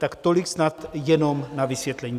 Tak tolik snad jenom na vysvětlení.